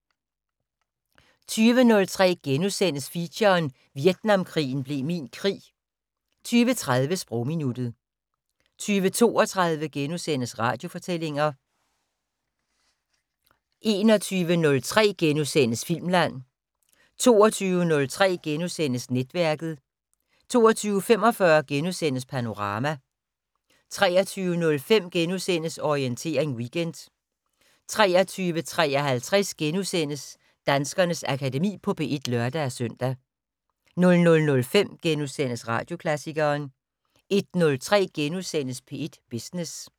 20:03: Feature: Vietnamkrigen blev min krig * 20:30: Sprogminuttet 20:32: Radiofortællinger * 21:03: Filmland * 22:03: Netværket * 22:45: Panorama * 23:05: Orientering Weekend * 23:53: Danskernes Akademi på P1 *(lør-søn) 00:05: Radioklassikeren * 01:03: P1 Business *